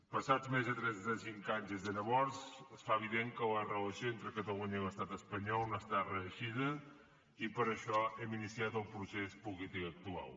passats més de trenta cinc anys des de llavors es fa evident que la relació entre catalunya i l’estat espanyol no ha estat reeixida i per això hem iniciat el procés polític actual